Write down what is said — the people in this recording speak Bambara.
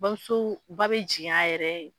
Bamuso ba bɛ jigin a yɛrɛ ye